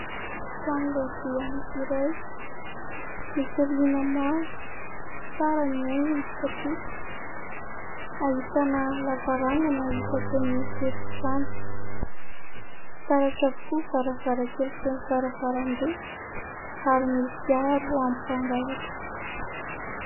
Trano lehibe anankiray, misy rihana maro, tsara ny haingony satria ahitana lavarangana isakin'ny efitrano, fitaratra avokoa ny varavarankely sy ny varavarambe ary misy aro amin'ny mpangalatra.